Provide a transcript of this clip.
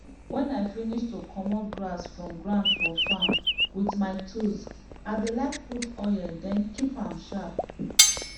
when i finish to commot grass from ground for farm with my tools i dey like put oil then keep am sharp